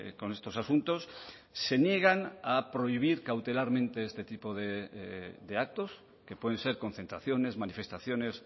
con estos asuntos se niegan a prohibir cautelarmente este tipo de actos que pueden ser concentraciones manifestaciones